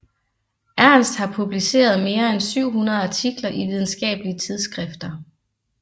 Ernst har publiceret mere end 700 artikler i videnskabelige tidsskrifter